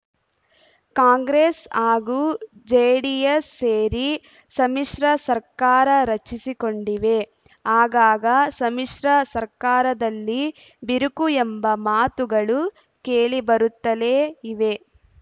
ಕಾಂಗ್ರೆಸ್‌ ಹಾಗೂ ಜೆಡಿಎಸ್‌ ಸೇರಿ ಸಮ್ಮಿಶ್ರ ಸರ್ಕಾರ ರಚಿಸಿಕೊಂಡಿವೆ ಆಗಾಗ ಸಮ್ಮಿಶ್ರ ಸರ್ಕಾರದಲ್ಲಿ ಬಿರುಕು ಎಂಬ ಮಾತುಗಳು ಕೇಳಿಬರುತ್ತಲೇ ಇವೆ